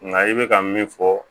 Nka i bɛ ka min fɔ